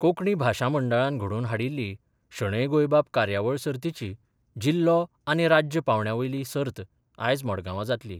कोंकणी भाशा मंडळान घडोवन हाडिल्ली शणै गोंयबाब कार्यावळ सर्तीची जिल्लो आनी राज्य पांवड्या वयली सर्त आयज मडगांवां जातली.